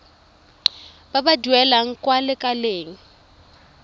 ba ba duelang kwa lekaleng